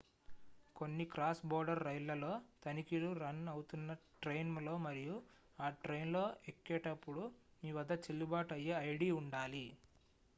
కొన్ని cross border రైళ్లలో తనిఖీలు రన్ అవుతున్న ట్రైన్ లో మరియు ఆ ట్రైన్ లో ఎక్కేటప్పుడు మీ వద్ద చెల్లుబాటు అయ్యే ఐడి ఉండాలి